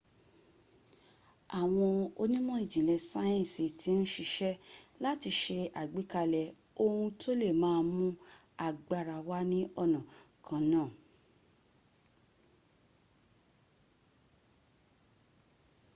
àwọn onímọ̀ ìjìnlẹ̀ sáyẹ̀nsì ti ń siṣẹ́ láti se àgbékalẹ̀ ohun tó le má a mún agbára wá ní ọ̀nà kan náà